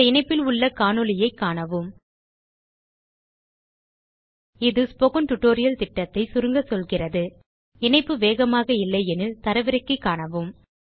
இந்த இணைப்பில் உள்ள காணொளியைக் காணவும் இது ஸ்போக்கன் டியூட்டோரியல் திட்டத்தை சுருக்க சொல்கிறது இணைய இணைப்பு வேகமாக இல்லையெனில் தரவிறக்கி காணவும்